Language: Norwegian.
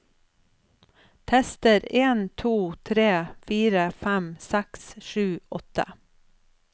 Tester en to tre fire fem seks sju åtte